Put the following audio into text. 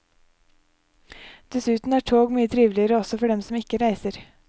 Dessuten er tog mye triveligere også for dem som ikke reiser.